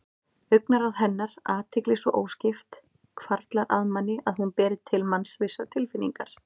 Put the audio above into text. Augnaráð hennar, athygli svo óskipt, hvarflar að manni að hún beri til manns vissar tilfinningar.